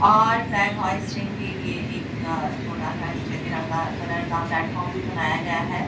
और flag hoisting के लिए एक छोटा सा निचे तिरंगा कलर का प्लेटफार्म भी बनाया गया है।